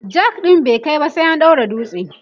jack ɗin bai kaiba sai an daura dutse